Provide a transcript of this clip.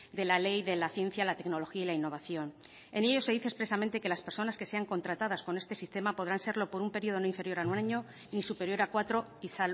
de la ley de la ciencia la tecnología y la innovación en ellos se dice expresamente que las personas que sean contratadas con este sistema podrán serlo por un periodo no inferior a un año y superior a cuatro y